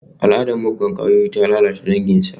Al'adar muggan kwayoyi ta lalata danginsa.